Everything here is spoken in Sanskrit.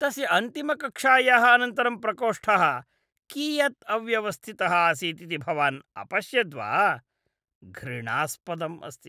तस्य अन्तिमकक्षायाः अनन्तरं प्रकोष्ठः कियद् अव्यवस्थितः आसीत् इति भवान् अपश्यद्वा? घृणास्पदम् अस्ति।